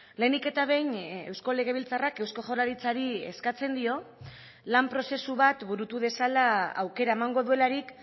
lehenik eta behin eusko legebiltzarrak eusko jaurlaritzari eskatzen dio lan prozesu bat burutu dezala aukera emango duelarik